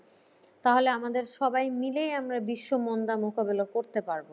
তাহলে আমাদের সবাই মিলেই আমরা বিশ্ব মন্দা মোকাবিলা করতে পারব।